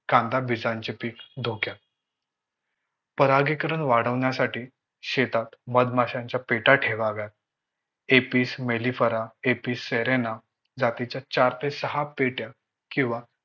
धोक्यात. परागीकरण वाढविण्यासाठी शेतात मधमाशांच्या पेट्या ठेवाव्यात. एपिस मेलिफेरा, एपिस सेरेना जातीच्या चार ते सहा पेट्या किंवा